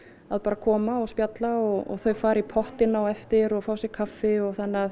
koma og spjalla og þau fara í pottinn á eftir og fá sér kaffi þannig að